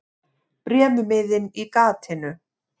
Bréfmiðinn í gatinu.